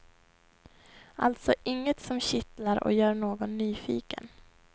Alltså inget som kittlar och gör någon nyfiken.